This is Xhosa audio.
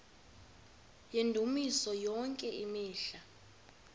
yendumiso yonke imihla